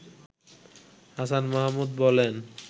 হাসান মাহমুদ বলেন